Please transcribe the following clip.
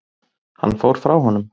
Hann fór frá honum.